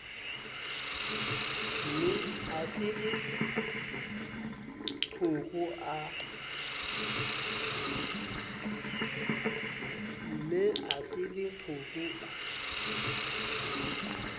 ne a se leqhoko a